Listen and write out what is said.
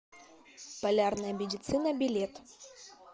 полярная медицина билет